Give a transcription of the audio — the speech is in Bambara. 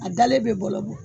A dalen bɛ bɔlɔ bɔ